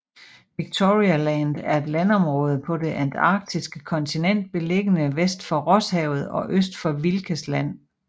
Victoria Land er et landområde på det antarktiske kontinent beliggende vest for Rosshavet og øst for Wilkes Land